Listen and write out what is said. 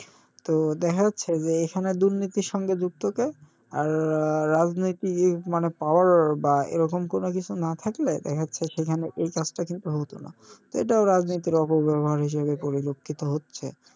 তো দেখা যাচ্ছে যে এখানে দুর্নীতির সঙ্গে যুক্ত কে আর রাজনৈতিক মানে power এরকম কোনোকিছু না থাকলে দেখা যাচ্ছে সেখানে এই কাজটা কিন্তু হতোনা তো এটাও রাজনীতির অপব্যাবহার হিসেবে পরিলক্ষিত হচ্ছে,